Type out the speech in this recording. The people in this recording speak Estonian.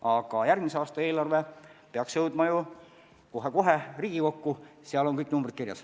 Aga järgmise aasta eelarve peaks kohe-kohe Riigikokku jõudma, seal on kõik numbrid kirjas.